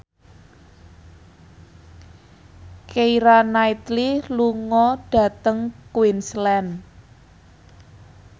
Keira Knightley lunga dhateng Queensland